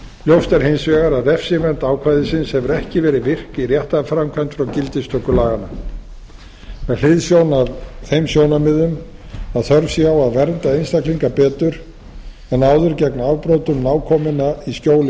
ljóst er hins vegar að refsivernd ákvæðisins hefur ekki verið virk í réttarframkvæmd frá gildistöku laganna með hliðsjón af þeim sjónarmiðum að þörf sé á að vernda einstaklinga betur en áður gegn afbrotum nákominna í skjóli